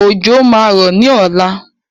Òjò máa rọ̀ ní ọ̀la.